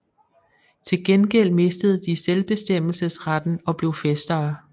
Til gengæld mistede de selvbestemmelsesretten og blev fæstere